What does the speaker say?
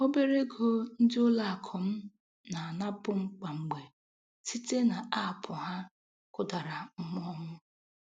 Obere ego ndị ụlọakụ m na-anapụ kwa mgbe site n'aapụ ha kụdara mmụọ m.